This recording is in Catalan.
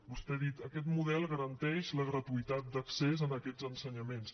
vostè ha dit aquest model garanteix la gratuïtat d’accés a aquests ensenyaments